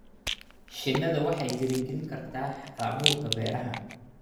Shinnidu waxay dhiirigelin kartaa hal-abuurka beeraha.